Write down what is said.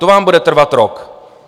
To vám bude trvat rok.